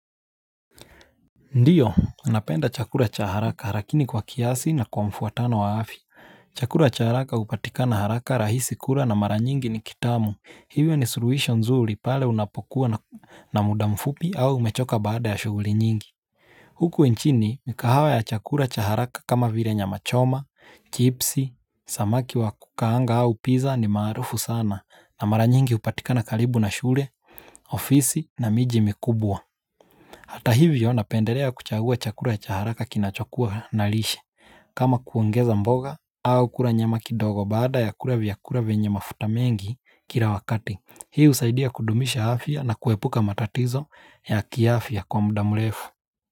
Ndiyo unapenda chakula cha haraka lakini kwa kiasi na kwa mfuatano wa afya chakula cha haraka upatika na haraka rahisi kura na mara nyingi ni kitamu Hivyo ni suruhisho nzuri pale unapokuwa na muda mfupi au umechoka baada ya shuguli nyingi Huku nchini mikahawa ya chakula cha haraka kama vire nya machoma, chipsi, samaki wa kukaanga au pizza ni marufu sana na mara nyingi upatika na kalibu na shure, ofisi na miji mikubwa Hata hivyo napendelea kuchagua chakura ya chaharaka kinachokua na lishe. Kama kuongeza mboga au kula nyama kidogo baada ya kula vyakula vyenye mafuta mengi kila wakati. Hii usaidia kudumisha afya na kuepuka matatizo ya kiafya kwa mda mrefu.